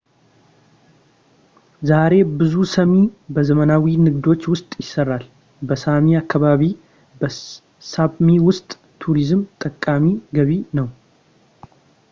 ዛሬ ብዙ ሳሚ በዘመናዊ ንግዶች ውስጥ ይሰራል በሳሚ አካባቢ በሳፕሚ ውስጥ ቱሪዝም ጠቃሚ ገቢ ነው